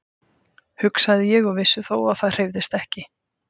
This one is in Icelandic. hugsaði ég og vissi þó að það hreyfðist ekki.